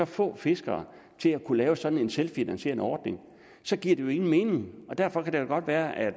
få fiskere til at kunne lave sådan en selvfinansierende ordning så giver det jo ingen mening derfor kan det da godt være at